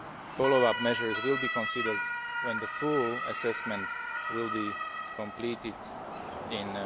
statute. Follow up measures will be considered when the full assessment is completed